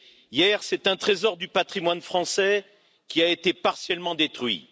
Hier, c'est un trésor du patrimoine français qui a été partiellement détruit.